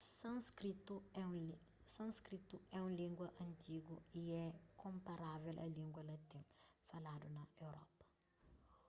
sânskritu é un língua antigu y é konparável a língua latin faladu na europa